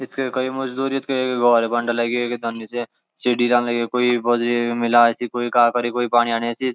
यत के एक मजदूरयत के एक गोड़ बंड लगे एक तन्नी च सीढी चढ़न लगी कुई बजरी मिलाए कुई काख फर कुई पाणी आण्या सि।